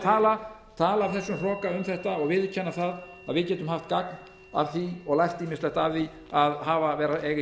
tala af þessum hroka um þetta og viðurkenna það að við getum haft gagn af því og lært ýmislegt af því að eiga í